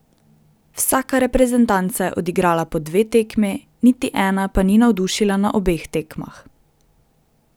Vsaka reprezentanca je odigrala po dve tekmi, niti ena pa ni navdušila na obeh tekmah.